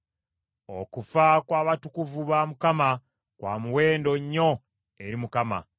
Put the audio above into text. Okufa kw’abatukuvu ba Mukama kwa muwendo nnyo eri Mukama .